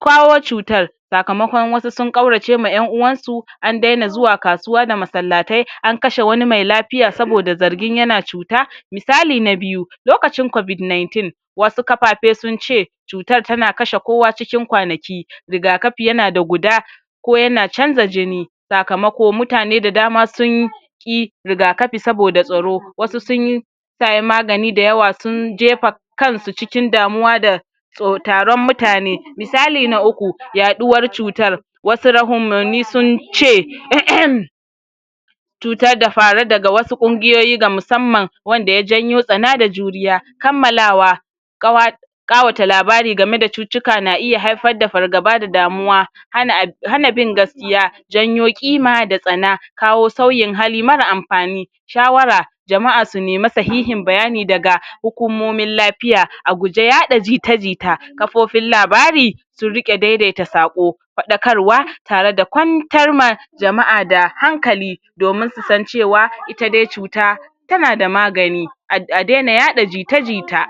kawo cutar sakamakon wasu sun ƙaurace ma yan'uwan su, an daina zuwz kasuwa da masallatai an kashe wani mai lafiya sabda zargin yana cuta miasli na biyu lokacin COVID 19 wasu kafafe sun ce cutar tana kashe kowa cikin kwanaki riga kafi yana da guda ko yana canza jijn sakamako mutane da dama sun ƙi riga kafi saboda tsaro, wasu sun saye magani dayawa sun jefa kansu cikin damuwa da tso taron mutane. misali na uku, yaɗuwar cutar wasu rahumani sunce um cutar da farucutar da farudaga wasu kugiyoyi na musamman, wanda ya janyoo tsana da juriya kammalawa ƙawa ƙawata labari gameda cutukka na haifar da fargaba da damuwa hana a hana bin gaskiya janyo ƙima da tsana kawo sauyin hali mara anfani shawara jama'a su nemi sahiin bayani daga hukumomin lapiya, aguje yaɗa jita jita kafofin labari su riɗe daidaita saƙo faɗakarwa tareda kwantar ma jama' da hankali domin su san cewa ita dai cuta tana da magani a[um] a daina yaɗa jita jita